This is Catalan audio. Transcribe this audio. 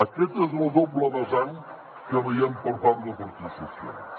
aquesta és la doble vessant que veiem per part del partit socialista